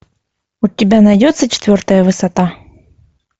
у тебя найдется четвертая высота